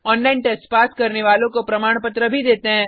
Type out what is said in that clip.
online test pass करने वालों को प्रमाण पत्र भी देते हैं